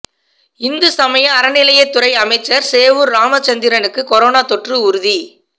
இந்து சமய அறநிலையத்துறை அமைச்சர் சேவூர் ராமச்சந்திரனுக்கு கொரோனா தொற்று உறுதி